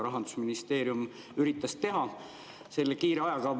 Rahandusministeerium üritas seda teha selle ajaga.